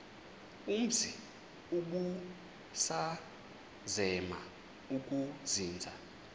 umzi ubusazema ukuzinza